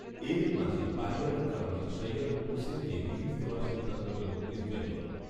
এরই মাঝে পারিবারিক কারণে সৈয়দ হুসেনকে রিলিজ দেওয়ার সিদ্ধান্ত নিল ইস্টবেঙ্গল